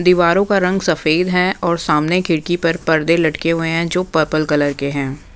दीवारों का रंग सफेद हैं और सामने खिड़की पर पर्दे लटके हुए हैं जो पर्पल कलर के हैं।